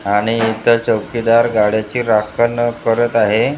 आणि इथं चौकीदार गाड्याची राखण करत आहे.